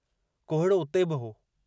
कोहीड़ो उते बि हो।